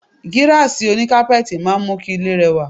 Gíráàsì oní kápẹ́ẹ̀tì máa ń mú kí ilé rẹwà.